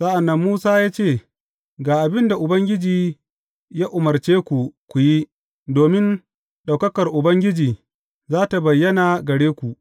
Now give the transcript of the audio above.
Sa’an nan Musa ya ce, Ga abin da Ubangiji ya umarce ku ku yi, domin ɗaukakar Ubangiji za tă bayyana gare ku.